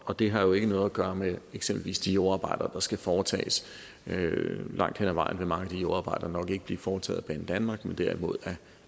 og det har jo ikke noget at gøre med eksempelvis de jordarbejder der skal foretages langt hen ad vejen vil mange af de jordarbejder nok ikke blive foretaget af banedanmark men derimod